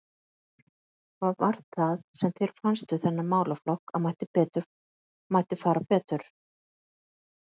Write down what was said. Heimir Már: Hvað var það sem þér fannst við þennan málaflokk að mætti fara betur?